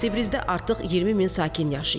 Cəbrizdə artıq 20 min sakin yaşayır.